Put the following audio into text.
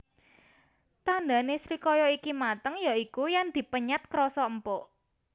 Tandhane srikaya iki mateng ya iku yen dipenyet krasa empuk